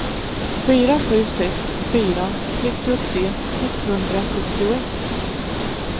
fyra sju sex fyra trettiotre etthundrasjuttioett